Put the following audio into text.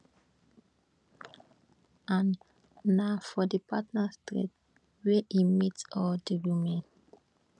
an na for di partners thread wey e meet all of di women